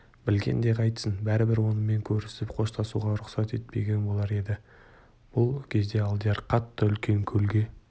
білгенде қайтсін бәрібір онымен көрісіп қоштасуға рұқсат етпеген болар еді бұл кезде алдияр қартты үлкен көлге